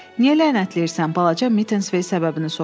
Niyə lənətləyirsən, balaca Mitensvey səbəbini soruşdu.